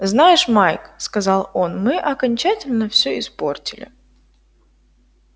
знаешь майк сказал он мы окончательно всё испортили